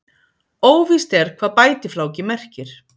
Óvíst er hvað bætifláki merkir.